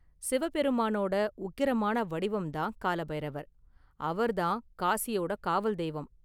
சிவ பெருமானோட உக்கிரமான வடிவம்தான் கால பைரவர், அவர்தான் காசியோட காவல் தெய்வம்.